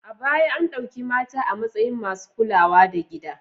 A baya an ɗauki mata a matsayin masu kulawa da gida.